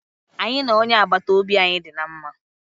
Anyị na onye agbata obi anyị dị na mma.